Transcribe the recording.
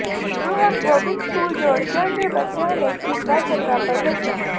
ਗੁਰੂ Hargobind school Jaurkian ਦੇ ਬੱਚਿਆਂ ਨੇ ਕੀਤਾ ਚੰਗਾ ਪ੍ਰਦਰਸ਼ਨ